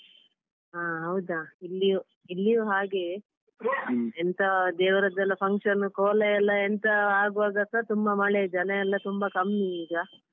ಹ ಹೌದಾ ಇಲ್ಲಿಯೂ ಇಲ್ಲಿಯೂ ಹಾಗೆಯೇ ಎಂತ ದೇವರದ್ದೆಲ್ಲ function ಕೋಲ ಎಲ್ಲ ಎಂತ ಆಗುವಾಗ ಸಹ ತುಂಬ ಮಳೆಯಿದೆ ಜನಯೆಲ್ಲ ತುಂಬಾ ಕಮ್ಮಿ ಈಗ.